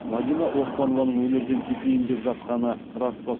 мадина оспанованың өнерден кетейін деп жатқаны рас па